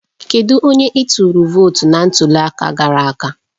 Kedu onye ị tụrụ vootu na ntuli aka gara aga?